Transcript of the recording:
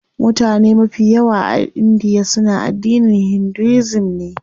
Mutane mafi yawa a india suna addinin Hinduism ne.